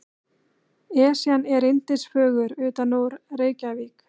Esjan er yndisfögur utanúr Reykjavík.